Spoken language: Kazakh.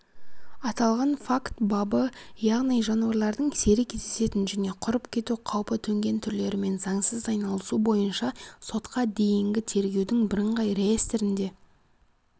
аталған факт бабы яғни жануарлардың сирек кездесетін және құрып кету қаупі төнген түрлерімен заңсыз айналысу бойынша сотқа дейінгі тергеудің бірыңғай реестрінде